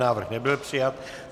Návrh nebyl přijat.